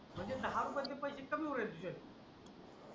म्हणजे दहा रुपये चे पैसे कमी होईल का